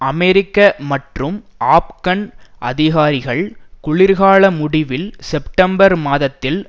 அமெரிக்க மற்றும் ஆப்கான் அதிகாரிகள் குளிர்கால முடிவில் செப்டம்பர் மாதத்தில்